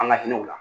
An ka hinɛw la